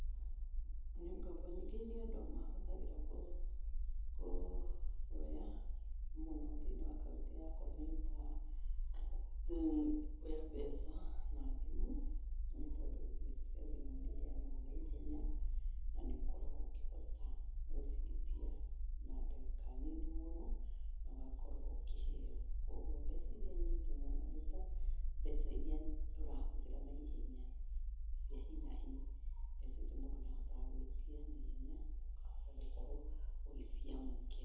Ngombo nyingĩ iria andũ mahũthagĩra kuoya mũno thĩinĩ wa kaũntĩ yakwa nĩ ta kuoya mbeca na thimũ, nĩ tondũ mbeca cia thimũ nĩ iheanagwo na ihenya. Na nĩ ukoragwo ũkĩhota gũciĩtia na ndagĩka nini mũno, na ũgakorwo ũkĩheo. Koguo mbeca iria nyingĩ mũno nĩta mbeca iria tũrahũthĩra na ihenya, cia hi na hi. Mbeca icio mũndũ nĩ ahotaga gwĩtia na ihenya, ũkahota gũkorwo ũgĩciamũkĩra.